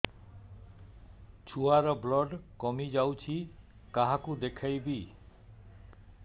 ଛୁଆ ର ବ୍ଲଡ଼ କମି ଯାଉଛି କାହାକୁ ଦେଖେଇବି